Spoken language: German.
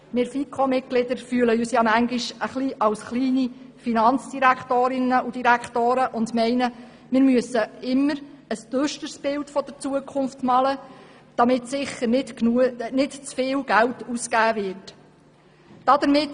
Wir FiKo-Mitglieder fühlen uns manchmal ein wenig als kleine Finanzdirektorinnen und -direktoren und meinen, wir müssten immer ein düsteres Bild der Zukunft malen, damit sicher nicht zu viel Geld ausgegeben wird.